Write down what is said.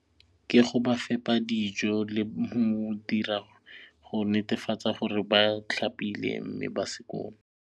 Ke go ba fepa dijo le go netefatsa gore ba tlhapile mme ba skoon.